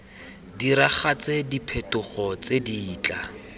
diragatse diphetogo tse di tla